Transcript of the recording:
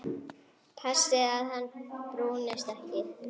Passið að hann brúnist ekki.